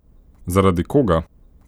Zaradi koga?